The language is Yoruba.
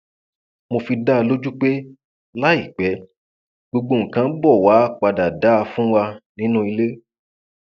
mo fi dá a lójú pé láìpẹ gbogbo nǹkan ń bọ wàá padà dà fún wa nínú ilé